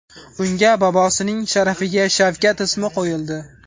Unga bobosining sharafiga Shavkat ismi qo‘yildi.